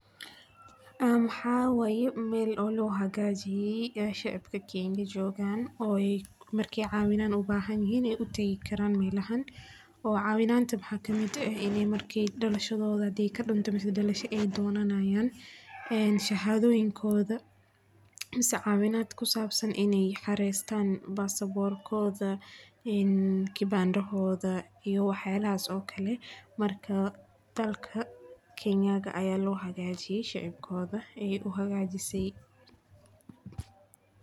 Mxaa waye meel loo hagaajiye shacabka kenya joogan, ooy markaay cawinaan ubahan yihiin tagaan melahan, cawinaanta mxaa kamid ah, ini marki dalashadooda hadeey kadumto ama dalasha aay donanayaan, shahadadoyinkooda, mise cawinaad kusabsan inaay xareestan passport ,kibanda hoda iyo wax yaabahaas oo kale, marka dalka kenya ayaa loo hagaajiye shacabkooda.